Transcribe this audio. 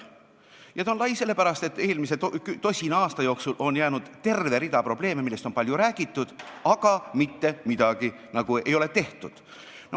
Ja ta on lai sellepärast, et eelmise tosina aasta jooksul on olnud terve hulk probleeme, millest on palju räägitud, aga mitte midagi ei ole ära tehtud.